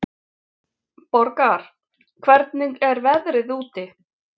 Borgar, hvernig er veðrið úti?